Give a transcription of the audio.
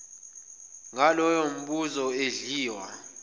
ngaloyo mbuzo edliwa